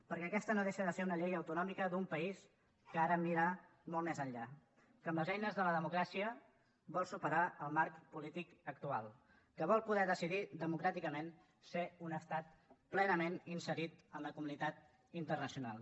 perquè aquesta no deixa de ser una llei autonòmica d’un país que ha de mirar molt més enllà que amb les eines de la democràcia vol superar el marc polític actual que vol poder decidir democràticament ser un estat plenament inserit en la comunitat internacional